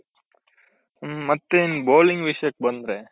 ಮತ್ತೆ ಈ bowling ವಿಷಯಕ್ ಬಂದ್ರೆ